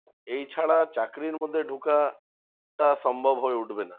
এই ছাড়া চাকরির মধ্যে ঢুকাটা সম্ভব হয়ে উঠবে না।